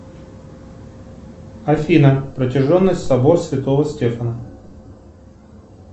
афина протяженность собор святого стефана